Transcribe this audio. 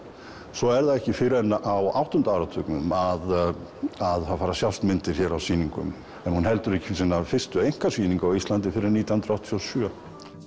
svo er það ekki fyrr en á áttunda áratugnum að það fara að sjást myndir hér á sýningum hún heldur ekki sína fyrstu einkasýningu á Íslandi fyrr en nítján hundruð áttatíu og sjö